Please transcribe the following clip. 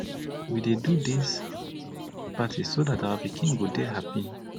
we dey do dis party so dat our pikin go dey happy